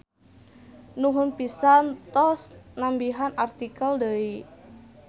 Nuhun pisan tos nambihan artikel deui.